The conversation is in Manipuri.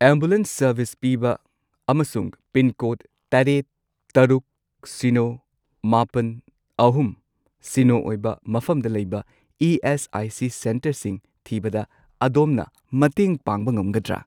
ꯑꯦꯝꯕꯨꯂꯦꯟꯁ ꯁꯔꯕꯤꯁ ꯄꯤꯕ ꯑꯃꯁꯨꯡ ꯄꯤꯟꯀꯣꯗ ꯇꯔꯦꯠ, ꯇꯔꯨꯛ, ꯁꯤꯅꯣ, ꯃꯥꯄꯟ, ꯑꯍꯨꯝ, ꯁꯤꯅꯣ ꯑꯣꯏꯕ ꯃꯐꯝꯗ ꯂꯩꯕ ꯏ.ꯑꯦꯁ.ꯑꯥꯏ.ꯁꯤ. ꯁꯦꯟꯇꯔꯁꯤꯡ ꯊꯤꯕꯗ ꯑꯗꯣꯝꯅ ꯃꯇꯦꯡ ꯄꯥꯡꯕ ꯉꯝꯒꯗ꯭ꯔꯥ?